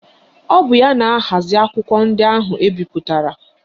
Ọ bụ ya na-ahazi akwụkwọ ndị ahụ ebipụtara